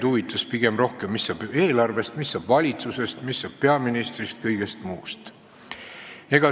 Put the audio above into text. Huvi pakkus pigem see, mis saab eelarvest, mis saab valitsusest, mis saab peaministrist ja kõigest muust.